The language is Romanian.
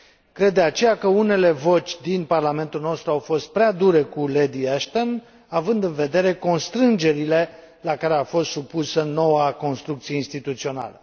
Cred, de aceea, că unele voci din Parlamentul nostru au fost prea dure cu Lady Ashton, având în vedere constrângerile la care a fost supusă noua construcție instituțională.